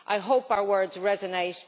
I hope our words resonate.